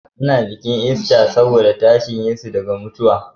A na bikin ista saboda tashin yesu daga mutuwa